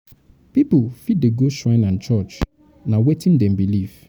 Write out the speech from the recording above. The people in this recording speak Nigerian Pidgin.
pipo fit dey go shrine and church; na wetin dem believe.